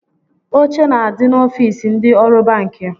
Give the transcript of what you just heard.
Oche na-adi n'ofiisi ndị ọrụ banki